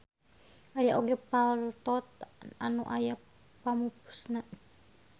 Aya oge paltot anu aya pamupusna.